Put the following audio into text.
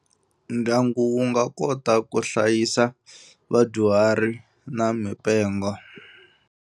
Ndyangu wu nga kota ku hlayisa vadyuhari na mipengo.